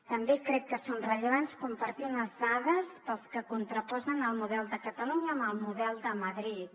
també crec que és rellevant compartir unes dades per als que contraposen el model de catalunya amb el model de madrid